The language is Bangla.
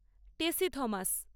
টেসি থমাস